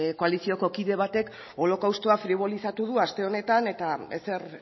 koalizioko kide batek holokaustoa fribolizatu du aste honetan eta ezer